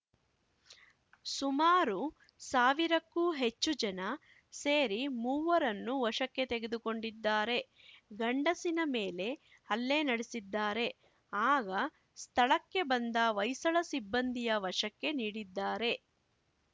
ಸುಮಾರು ಸಾವಿರಕ್ಕೂ ಹೆಚ್ಚು ಜನ ಸೇರಿ ಮೂವರನ್ನೂ ವಶಕ್ಕೆ ತೆಗೆದುಕೊಂಡಿದ್ದಾರೆ ಗಂಡಸಿನ ಮೇಲೆ ಹಲ್ಲೆ ನಡೆಸಿದ್ದಾರೆ ಆಗ ಸ್ಥಳಕ್ಕೆ ಬಂದ ಹೊಯ್ಸಳ ಸಿಬ್ಬಂದಿಯ ವಶಕ್ಕೆ ನೀಡಿದ್ದಾರೆ